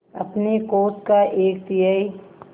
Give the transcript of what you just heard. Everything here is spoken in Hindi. अपने कोष का एक तिहाई